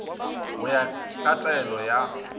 go ya ka taelo ya